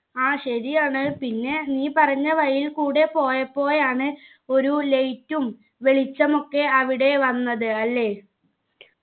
ആ ശരിയാണ് പിന്നെ നീ പറഞ്ഞ വഴിയിൽക്കൂടെ പോയപ്പോഴാണ് ഒരു light ഉം വെളിച്ചമൊക്കെ അവിടെ വന്നത് അല്ലെ